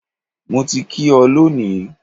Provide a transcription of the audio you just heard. Mo ti kí ọ lónìí.